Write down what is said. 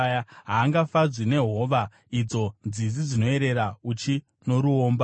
Haangafadzwi nehova, idzo nzizi dzinoyerera uchi noruomba.